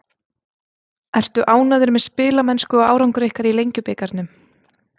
Ertu ánægður með spilamennsku og árangur ykkar í Lengjubikarnum?